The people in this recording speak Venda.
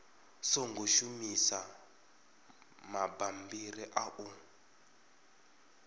songo shumisa mabammbiri a u